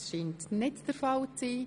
– Das scheint nicht der Fall zu sein.